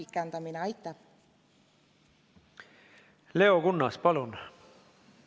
Leo Kunnas, palun!